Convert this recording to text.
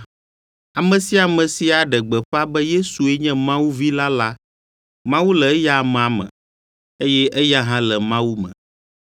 Ame sia ame si aɖe gbeƒã be Yesue nye Mawu Vi la la, Mawu le eya amea me, eye eya hã le Mawu me.